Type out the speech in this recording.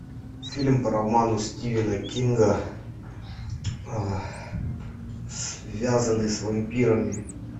фильм по роману стивена кинга связанный с вампирами